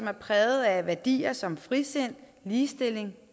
er præget af værdier som frisind ligestilling